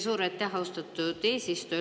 Suur aitäh, austatud eesistuja!